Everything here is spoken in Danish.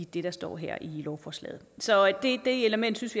det der står her i lovforslaget så det element synes